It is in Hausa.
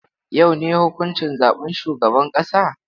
Yau ne huƙuncin zaɓen shugaban ƙasa?